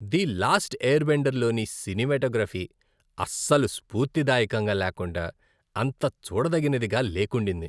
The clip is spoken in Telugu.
"ది లాస్ట్ ఎయిర్బెండర్" లోని సినిమాటోగ్రఫీ అస్సలు స్పూర్తిదాయకంగా లేకుండా, అంత చూడదగినదిగా లేకుండింది.